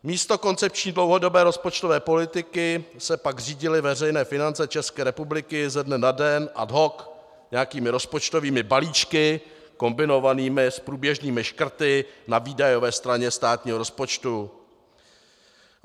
Místo koncepční dlouhodobé rozpočtové politiky se pak řídily veřejné finance České republiky ze dne na den ad hoc nějakými rozpočtovými balíčky kombinovanými s průběžnými škrty na výdajové straně státního rozpočtu.